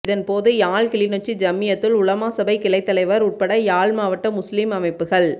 இதன் போது யாழ் கிளிநொச்சி ஜம்மியத்துல் உலமா சபை கிளைத்தலைவர் உட்பட யாழ் மாவட்ட முஸ்லீம் அமைப்புக்கள்